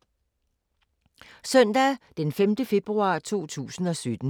Søndag d. 5. februar 2017